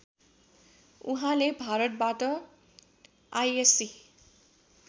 उहाँले भारतबाट आइएस्सी